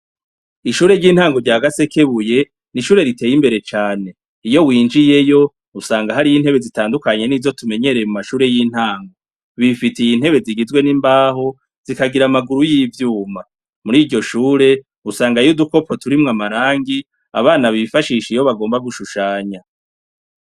Ishure ry’intango rya Gasekebuye, ni ishure riteye imbere cane. Iyo winjiyeyo usanga hariyo intebe zitandukanye nizo tumenyereye mumashure y’intango, bifitiye intebe zigizwe n’imbaho zikagira amaguru yivyuma, muriryoshure usangayo udukopo turimwo amarangi abana bifashisha iyo bagomba gushushanya.